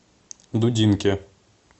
дудинке